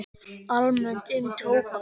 Almennt um tóbak